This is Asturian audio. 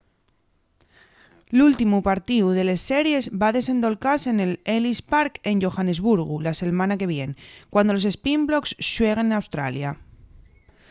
l’últimu partíu de les series va desendolcase nel ellis park en johannesburgu la selmana que vien cuando los sprinblocks xueguen n’australia